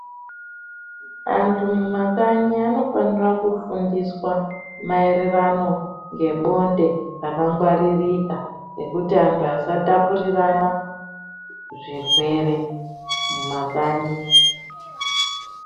Anhu mumakanyi anofanira kufundiswa maererano ngebonde rakangwariririka nekuti anhu asatapurirana zvirwere mumakanyi.